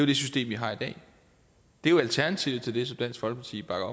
det system vi har i dag det er jo alternativet til det som dansk folkeparti bakker